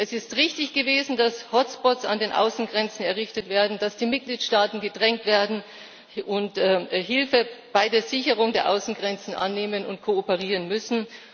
Es ist richtig gewesen, dass Hotspots an den Außengrenzen errichtet werden, dass die Mitgliedsstaaten gedrängt werden und Hilfe bei der Sicherung der Außengrenzen annehmen und kooperieren müssen.